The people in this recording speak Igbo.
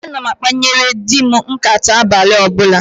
Ana m akpanyere di m nkàtá abalị ọbụla